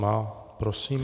Má. Prosím.